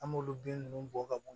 An m'olu bin ninnu bɔ ka bo yen